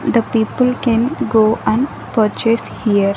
The people can go and purchase here.